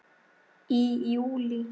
Í júlí